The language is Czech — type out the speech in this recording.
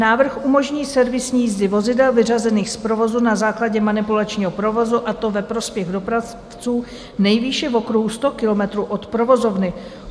Návrh umožní servisní jízdy vozidel vyřazených z provozu na základě manipulačního provozu, a to ve prospěch dopravců, nejvýše v okruhu 100 kilometrů od provozovny.